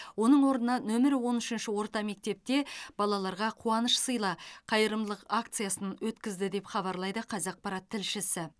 оның орнына нөмірі он үшінші орта мектепте балаларға қуаныш сыйла қайырымдылық акциясын өткізді деп хабарлайды қазақпарат тілшісі